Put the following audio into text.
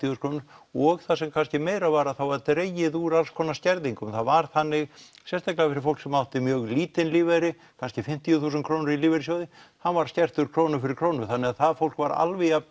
þúsund krónur og það sem kannski meira var að var dregið úr alls konar skerðingum það var þannig sérstaklega fyrir fólk sem átti mjög lítinn lífeyri kannski fimmtíu þúsund krónur í lífeyrissjóði hann var skertur krónu fyrir krónu þannig að það fólk var alveg jafn